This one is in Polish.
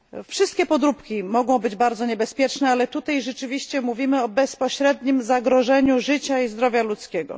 Wszystkie podróbki mogą być bardzo niebezpieczne, ale tutaj rzeczywiście mówimy o bezpośrednim zagrożeniu życia i zdrowia ludzkiego.